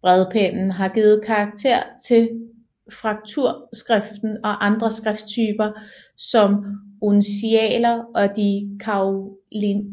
Bredpennen har givet karakter til frakturskriften og andre skrifttyper som uncialer og de karolingiske